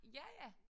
Ja